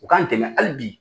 U k'an dɛmɛ hali bi.